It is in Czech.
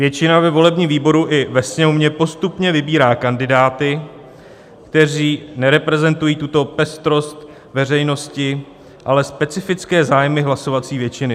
Většina ve volebním výboru i ve Sněmovně postupně vybírá kandidáty, kteří nereprezentují tuto pestrost veřejnosti, ale specifické zájmy hlasovací většiny.